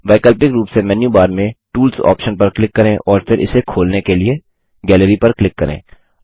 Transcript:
वैकल्पिक रूप से मेन्यू बार में टूल्स ऑप्शन पर क्लिक करें और फिर इसे खोलने के लिए गैलरी पर क्लिक करें